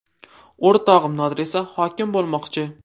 O‘rtog‘im Nodir esa hokim bo‘lmoqchi.